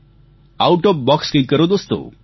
out of box કંઈક કરો દોસ્તો